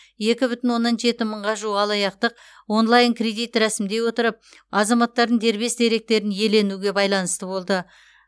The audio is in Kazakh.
екі бүтін оннан жеті мыңға жуық алаяқтық онлайн кредит рәсімдей отырып азаматтардың дербес деректерін иеленуге байланысты болды